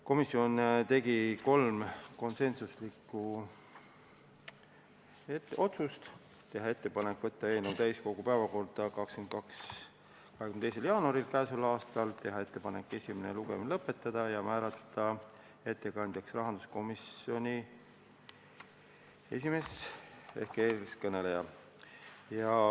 Komisjon tegi kolm konsensuslikku otsust: teha ettepanek võtta eelnõu täiskogu päevakorda k.a 22. jaanuariks, teha ettepanek esimene lugemine lõpetada ja määrata ettekandjaks rahanduskomisjoni esimees ehk eeskõneleja.